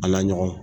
A la ɲɔgɔn